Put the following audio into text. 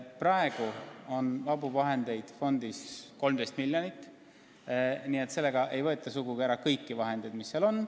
Praegu on vabu vahendeid fondis 13 miljonit, nii et sellega ei võeta sugugi ära kõike, mis seal on.